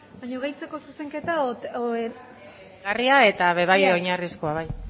baina gehitzeko zuzenketa gehigarria eta be bai oinarrizkoa bai